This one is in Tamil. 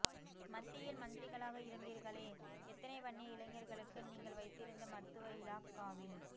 மத்தியில் மந்திரிகளாக இருந்தீர்களே எத்தனை வன்னிய இளைஞர்களுக்கு நீங்கள் வைத்திருந்த மருத்துவ இலாக்காவில்